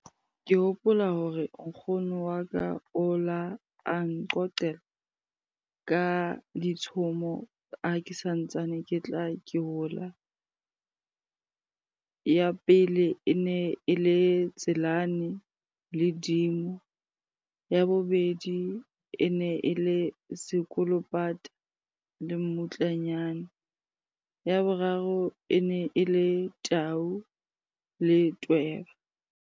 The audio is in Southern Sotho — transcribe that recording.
Ke hopola hore nkgono wa ka o la a nqoqela ka ditshomo ha ke santsane ke tla ke hola. Ya pele, e ne e le Tselane le dimo. Ya bobedi, e ne e le sekolopata le mmutlanyana. Ya boraro, e ne e le tau le tweba.